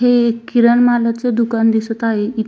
हे एक किरण मालच दुकान दिसत आहे.